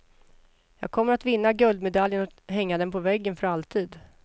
Jag kommer att vinna guldmedaljen och hänga den på väggen för alltid.